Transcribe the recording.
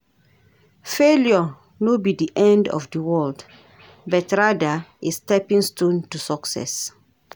Failure no be di end of di world, but rather a stepping stone to success.